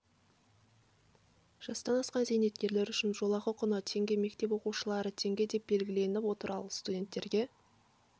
жастан асқан зейнеткерлер үшін жолақы құны теңге мектеп оқушыларына теңге деп белгіленіп отыр ал студенттерге